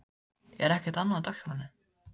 Er ekkert annað á dagskránni?